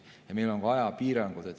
Ja meil on ajapiirangud.